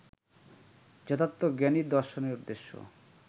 যথার্থ জ্ঞানই দর্শনের উদ্দেশ্য